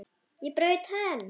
Ég braut tönn!